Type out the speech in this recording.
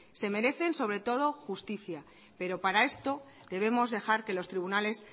se merecen sobre todo justicia pero para esto debemos dejar de los tribunales